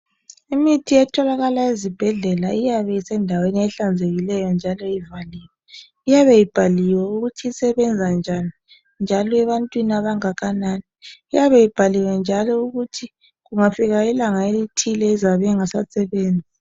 Imithi etholakala ezibhedlela iyabe isendaweni ehlanzekileyo njalo ibhaliwe ukuthi isebenza njani njalo ebantwini abangakanani iyabe ibhaliwe njalo ukuthi kungafika ilanga elithile izabe ingasasebenzi